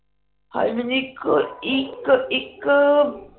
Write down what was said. ਹਏ ਮੈਨੂੰ ਇਕ ਇਕ ਇਕ